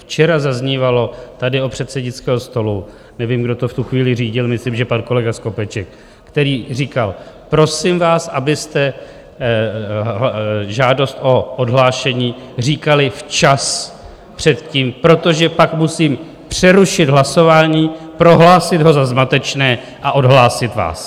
Včera zaznívalo tady od předsednického stolu, nevím, kdo to v tu chvíli řídil, myslím, že pan kolega Skopeček, který říkal: prosím vás, abyste žádost o odhlášení říkali včas, předtím, protože pak musím přerušit hlasování, prohlásit ho za zmatečné a odhlásit vás.